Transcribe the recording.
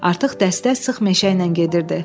Artıq dəstə sıx meşə ilə gedirdi.